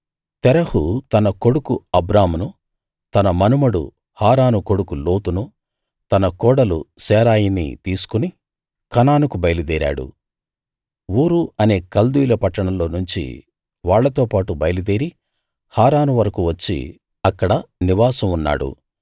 తెరహు తన కొడుకు అబ్రామును తన మనుమడు హారాను కొడుకు లోతును తన కోడలు శారయిని తీసుకు కనానుకు బయలుదేరాడు ఊరు అనే కల్దీయుల పట్టణంలో నుంచి వాళ్ళతోపాటు బయలుదేరి హారాను వరకూ వచ్చి అక్కడ నివాసం ఉన్నాడు